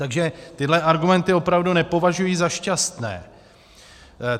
Takže tyhle argumenty opravdu nepovažuji za šťastné.